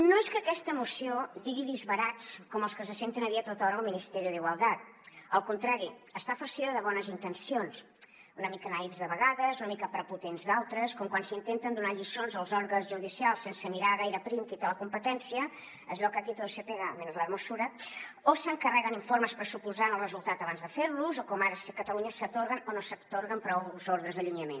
no és que aquesta moció digui disbarats com els que se senten a dir a tothora al ministerio de igualdad al contrari està farcida de bones intencions una mica naïfs de vegades una mica prepotents d’altres com quan s’intenten donar lliçons als òrgans judicials sense mirar gaire prim qui en té la competència es veu que aquí todo se pega menos la hermosura o s’encarreguen informes pressuposant ne el resultat abans de fer los o com ara si a catalunya s’atorguen o no s’atorguen prous ordres d’allunyament